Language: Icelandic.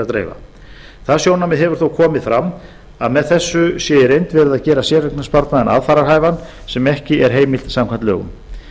dreifa það sjónarmið hefur þó komið fram að með þessu sé í reynd verið að gera séreignarsparnaðinn aðfararhæfan sem ekki er heimilt samkvæmt lögum